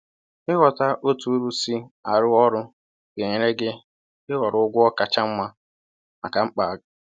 “Ịghọta otú uru si arụ ọrụ ga-enyere gị ịhọrọ ụgwọ kacha mma maka mkpa g